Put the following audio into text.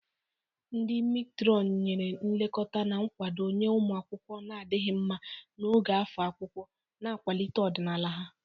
Ndi Meetron nyere nlekọta na nkwado nye ụmụ akwụkwọ na-adịghị mma n'oge afọ akwụkwọ, na-akwalite ọdịmma ha.